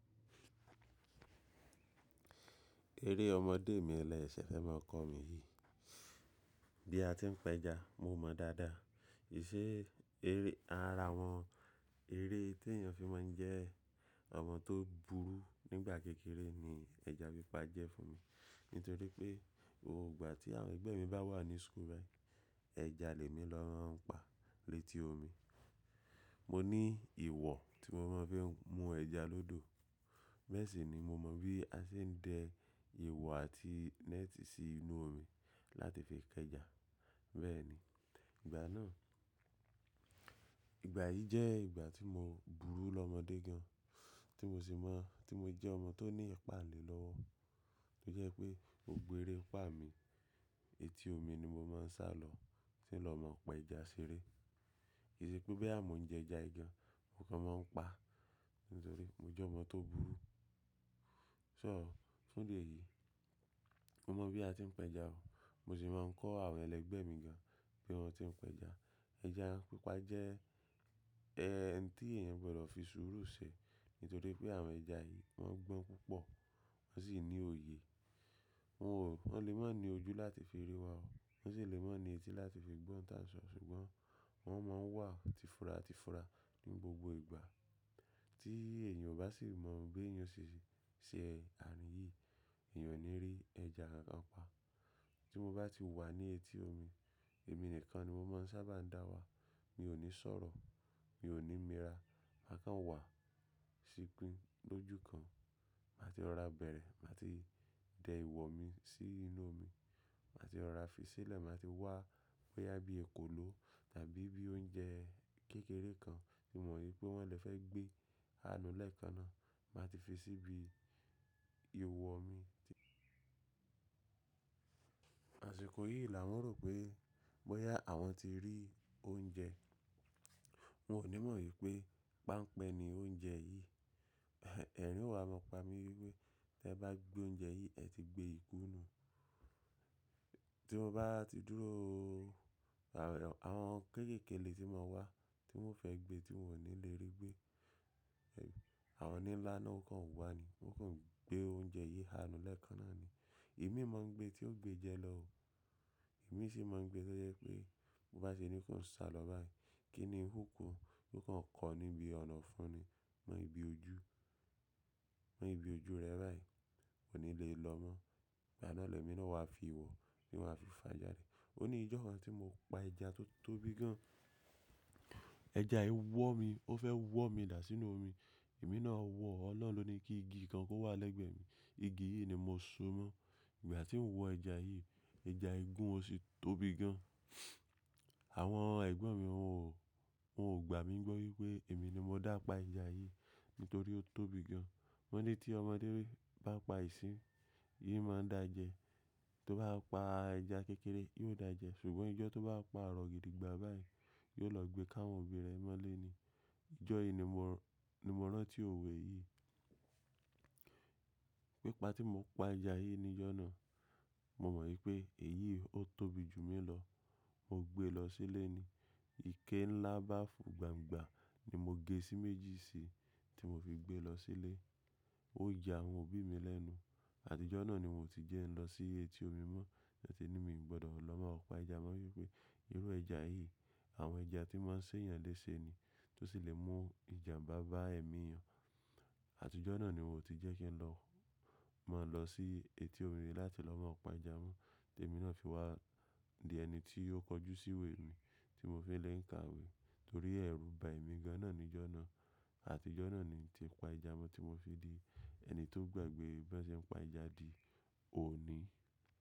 Eré ọmọdé mi lẹ ṣẹ fẹ́ máa kọ́ mi yìí. Bí a ti ń pẹja, mo mọ̀ dáadáa. Ìṣe eré, ara wọn eré tí èèyàn fi máa ń jẹ ọmọ tó burú nígbà kékeré ni ẹja pípa jẹ́ fún mi. Nítorí pé, gbogbo ìgbà tí àwọn ẹgbẹ́ mi bá wà ní skul bayii, ẹja lèmi ló máa ń pa létí omi. Mo ní ìwọ̀ tí mo máa ń fi mú ẹja lọ́dọ̀. Bee sì ni mo mọ bí a ṣe ń de ìwọ̀ àti neti sí inú omi láti fi kẹja. Bẹ́ẹ̀ ni, ìgbà náà, ìgbà yìí jẹ́ ìgbà tí mo burú lọ́mọdé gan, tí mo sì mọ̀, tí mo jẹ́ ọmọ tó ní ìpáǹle lọ́wọ́. Tó jẹ́ pé, gbogbo eré pa mi, eti omi ni mo máa ń sálọ, tí ń lọ máa ń pa ẹja ṣeré. Kì í ṣe pé béè á mo ń jẹ ẹja yi gan, m'okàn máa ń pa, nítorí mo jẹ́ ọmọ tó burú. So, fún idi eyìí, mo mọ bí a ti ń pẹja o. Mo sì máa ń kọ́ àwọn ẹlẹgbẹ́ mi gan bi wọ́n ti ń pẹja. Ẹja pípa jẹ́ ẹ́ńtì èèyàn gbọ́dọ̀ fi sùúrù ṣe, nítorí pé àwọn ẹja yìí wọ́n gbọ́n púpọ̀, wọ́n sì ní òye. Wọn ò, wọ́n lè máa ń ní ojú láti fi rí wa o. Wọ́n sì lè máa ń ní etí láti fi gbọ́n tà n so, ṣùgbọ́n wọ́n máa ń wà tìfura tìfura ní gbogbo ìgbà. Tí èèyàn ò bá sì mọ̀ bi eyan ò sì ṣe àárín yìí, èèyàn ò ní rí ẹja kankan pa. Tí mo bá ti wà ní eti omi, èmi nìkan ni mo máa ń sábà ń dá wà. Mi ò ní sọ̀rọ̀, mi ò ní mira, ma'kàn wà, ṣipín lójú kan. Màá ti rọ̀ra bẹ̀rẹ̀, màá ti dẹ ìwọ̀ mi sí inú omi. Màá ti rọ̀ra fi sílẹ̀, màá ti wá bóyá bí èkòló tàbí bí oúnjẹ kékeré kan tí mo mọ̀ wípé wọ́n lè fẹ́ gbé àánú lẹ́ẹ̀kan náà, màá ti fi síbi ìwọ̀ mi. Àṣìkò yìí là wọ́n rò pé bóyá àwọn ti rí oúnjẹ. Wọn ò ní mọ̀ wípé páńpẹ́ ni oúnjẹ yìí. Ẹ̀rin o wa máa pa mí wípé tí ẹ bá gbé oúnjẹ yìí, ẹ ti gbé ìkúnú. Tí mo bá ti dúró, àwọn kéékèèké lè tí máa wá, tí wọ́n fẹ́ gbé tí wọn ò ní lè rí gbé. Àwọn oní ńlá náà ó kàn wá ni, ó kàn gbé oúnjẹ yìí àánú lẹ́ẹ̀kan náà ni. Èmi máa ń gbé tí ó gbé jẹ lọ o. Èmi sì máa ń gbé tó jẹ́ pé bó bá ṣe ní kí n sá lọ báyìí, kí ni húkù yoo kon kọ níbi ọ̀nàfun ni, mọ́ ibi ojú, mọ́ ibi ojú rẹ báyìí, kò ní lè lọ mọ́. Ìgbà náà lẹ́mi náà wá fi ìwọ̀ ni wàá fi fàjà rẹ̀. Ó ní ìjọ́ kan tí mo pa ẹja tó tóbi gan. Ẹja yìí wọ̀ mí, ó fẹ́ wọ̀ mí dà sínú omi. Èmi náà wọ̀ ọ́'lọ́un loni kí igi kan kó wà lẹ́gbẹ̀ẹ́ mi. Igi yìí ni mo so mọ́. Ìgbà tí mo wọ ẹja yìí, ẹja ìgún ó sì tóbi gan. Àwọn ẹ̀gbọ́n mi wọn ò, wọn ò gbà mí gbọ́ wípé èmi ni mo dápa ẹja yìí, nítorí ó tóbi gan. Wọ́n ní tí ọmọdé bá pa ìsín, yìí máa ń dà jẹ. Tí ó bá pa ẹja kékeré, yóò dà jẹ. Ṣùgbọ́n ijọ́ tó bá pa arọ̀ gidi gbà báyìí, yóò lọ gbé káwọn òbí rẹ̀ mọ́ léni. Ijọ́ yìí ni mo rántí òwe yìí. Pípa tí mo pa ẹja yìí ní ìjọ́nà, mo mọ̀ wípé èyí ó tóbi jù mí lọ. Mo gbé e lọ sílé ni. Ike ńlá báàfù gbangba ni mo gé sí méjì sí i tí mo fi gbé lọ sílé. Ó yà àwọn òbí mi lẹ́nu. Àtijọ́ náà ni won ti jẹ́ ń lọ sí eti omi mọ́, lẹ́tí ní mi ò gbọ́dọ̀ lọ mọ́ ọ̀pá ìjàmọ́ wípé irú ẹja yìí àwọn ẹja tí máa ń ṣe èèyàn léṣe ni, tó sì lè mú ìjànbá bá ẹ̀mí èèyàn. Àtijọ́ náà ni mo ti jẹ́ kí n lọ, mọ́ lọ sí eti omi láti lọ mọ́ ọ̀pá ìjàmọ́, tí èmi náà fi wá di ẹni tí ó kọjú sí iwè mi, tí mo fi lé ń kàwé, torí ẹ̀rù bà mí gan náà ní ìjọ́nà. Àtijọ́ náà ni tí pa ejà mọ́ tí mo fi di ẹni tó gbàgbé b'ose n pa ejà di òní.